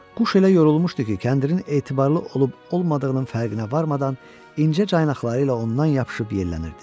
Quş elə yorulmuşdu ki, kəndirin etibarlı olub-olmadığının fərqinə varmadan incə caynaqları ilə ondan yapışıb yellənirdi.